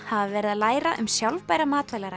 hafa verið að læra um sjálfbæra